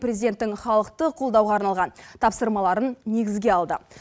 президенттің халықты қолдауға арналған тапсырмаларын негізге алды